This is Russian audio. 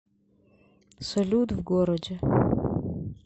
салют в городе